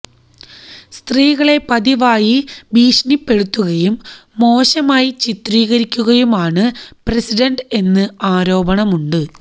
സ്ത്രീകളെ പതിവായി ഭീക്ഷണിപ്പെടുത്തുകയും മോശമായി ചിത്രീകരിക്കുകയുമാണ് പ്രസിഡന്റ് എന്ന് ആരോപണമുണ്ട്